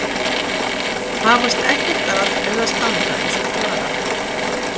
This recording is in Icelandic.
Hafast ekkert að eða standa eins og þvara.